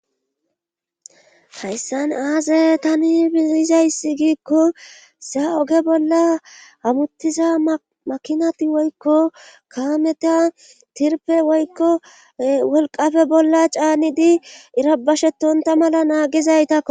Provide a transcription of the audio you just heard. Hayssan aaze tani biizayssi giikko saa oge bolla hamuttiza makinati woykko kaameta tirpe woykko wolqafe bolla caanidi irabashetonta mala naagizaytakko.